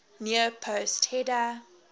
near post header